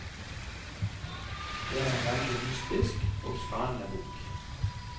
Det er en veldig mystisk og spennende bok.